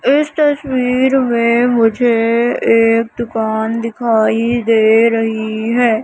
इस तस्वीर में मुझे एक दुकान दिखाई दे रही है।